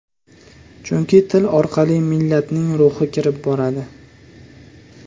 Chunki til orqali millatning ruhi kirib boradi.